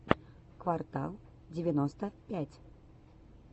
квартал девяносто пять